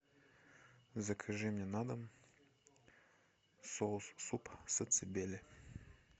закажи мне на дом соус суп сацебели